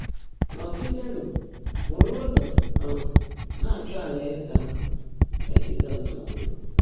“Nọ́gídéénú búrú ụ́zọ́ um ná-áchọ́ áláèzé áhụ́,” kà Jị́zọ́s kwùrú.